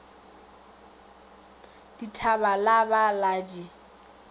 dithaba la ba la di